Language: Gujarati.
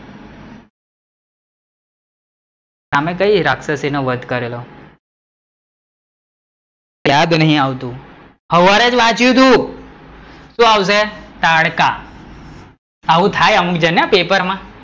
તમે કઈ રાક્ષસી નો વધ કરેલો? યાદ નહિ આવતું, સવારે જ વાંચીયું હતું, શું આવશે? તાડકા, આવું થાય અમુક જન ને પેપર માં,